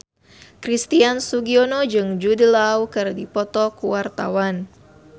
Christian Sugiono jeung Jude Law keur dipoto ku wartawan